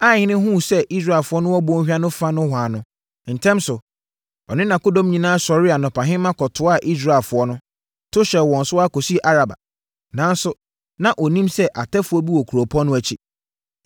Aihene hunuu sɛ Israelfoɔ no wɔ bɔnhwa no fa nohoa no, ntɛm so, ɔne nʼakodɔm nyinaa sɔree anɔpahema kɔtoaa Israelfoɔ no, to hyɛɛ wɔn so wɔ Araba. Nanso, na ɔnnim sɛ atɛfoɔ bi wɔ kuropɔn no akyi.